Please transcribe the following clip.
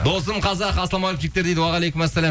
досым қазақ ассалаумағалейкум жігіттер дейді уағалейкумассалям